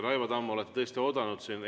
Raivo Tamm, te olete tõesti oodanud siin.